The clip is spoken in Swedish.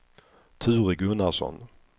Ture Gunnarsson